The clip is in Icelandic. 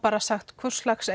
sagt hvurslags